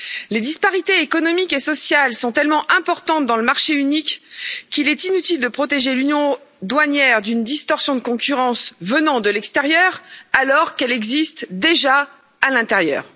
Les disparités économiques et sociales sont tellement importantes dans le marché unique qu'il est inutile de protéger l'union douanière d'une distorsion de concurrence venant de l'extérieur, alors qu'elle existe déjà à l'intérieur.